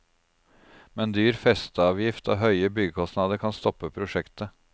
Men dyr festeavgift og høye byggekostnader kan stoppe prosjektet.